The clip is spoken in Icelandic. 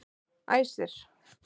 Æsir